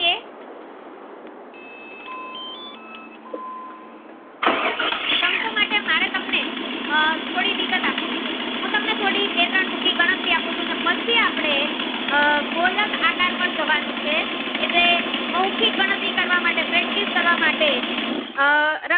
આહ થોડી વિગત આપવી છે હું તમને બે ત્રણ ટૂંકી ગણતરી આપું ને પછી આપડે આહ ગોલક આકાર પર જવાનું છે જે મૌખિક ગણતરી કરવા માટે practice કરવા માટે